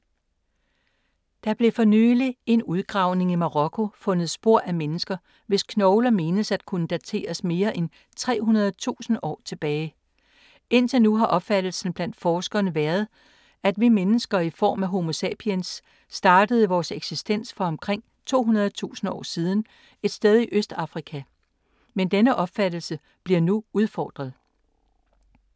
Der blev for nyligt i en udgravning i Marokko fundet spor af mennesker, hvis knogler menes at kunne dateres mere end 300.000 år tilbage. Indtil nu har opfattelsen blandt forskerne været, at vi mennesker, i form af homo sapiens, startede vores eksistens for omkring 200.000 år siden et sted i Østafrika. Men denne opfattelse bliver nu udfordret.